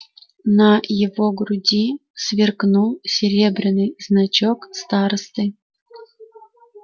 на его груди сверкнул серебряный значок старосты